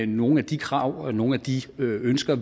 nogle af de krav og nogle af de ønsker